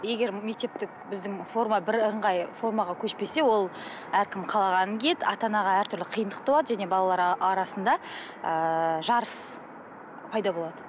егер мектептік біздің форма бірыңғай формаға көшпесе ол әркім қалағанын киеді ата анаға әртүрлі қиындық туады және балалар арасында ыыы жарыс пайда болады